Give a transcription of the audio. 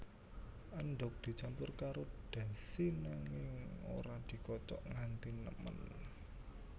Endhog dicampur karo dashi nanging ora dikocok nganti nemen